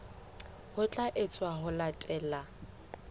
ho tla etswa ho latela